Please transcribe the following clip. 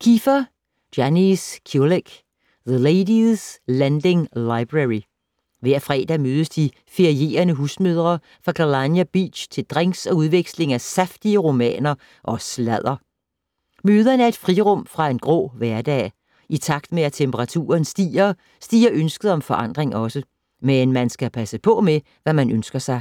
Keefer, Janice Kulyk: The ladies' lending library Hver fredag mødes de ferierende husmødre fra Kalyna Beach til drinks og udveksling af saftige romaner og sladder. Møderne er et frirum fra en grå hverdag. I takt med at temperaturen stiger, stiger ønsket om forandring også. Men man skal passe på med, hvad man ønsker sig.